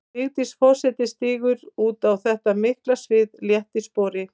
Vigdís forseti stígur út á þetta mikla svið létt í spori.